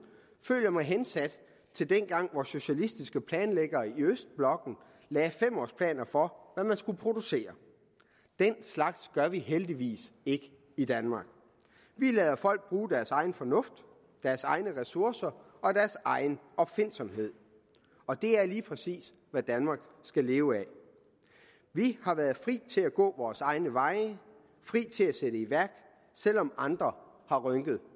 føler jeg mig hensat til dengang hvor socialistiske planlæggere i østblokken lagde fem års planer for hvad man skulle producere den slags gør vi heldigvis ikke i danmark vi lader folk bruge deres egen fornuft deres egne ressourcer og deres egen opfindsomhed og det er lige præcis hvad danmark skal leve af vi har været fri til at gå vore egne veje fri til at sætte i værk selv om andre har rynket